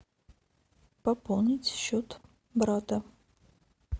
пополнить счет брата